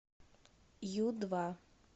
ю два